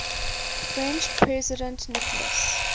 french president nicolas